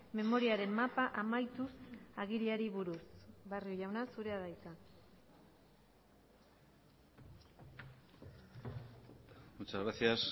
memoriaren mapa amaituz agiriari buruz barrio jauna zurea da hitza muchas gracias